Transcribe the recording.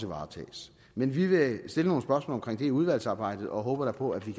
varetages men vi vil stille nogle spørgsmål om det i udvalgsarbejdet og håber da på at vi